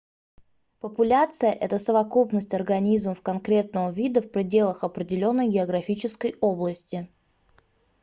популяция это совокупность организмов конкретного вида в пределах определённой географической области